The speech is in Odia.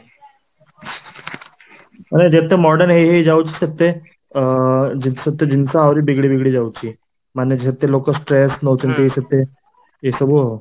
ମାନେ ଯେତେ modern ହେଇ ହେଇ ଯାଉଛେ ସେତେ ଅ ସେତେ ଜିନିଷ ଆହୁରି ବିଗିଡି ବିଗିଡି ଯାଉଛି, ମାନେ ସେତେ ଲୋକ stress ନଉଛନ୍ତି ଏସବୁ ଆଉ